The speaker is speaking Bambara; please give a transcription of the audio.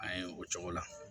An ye o cogo la